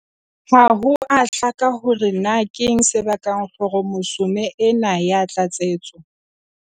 Ha ho a hlaka hore na keng se bakang khromosome ena ya tlatsetso.